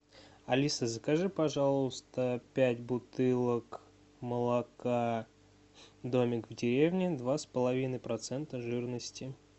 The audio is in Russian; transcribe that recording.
алиса закажи пожалуйста пять бутылок молока домик в деревне два с половиной процента жирности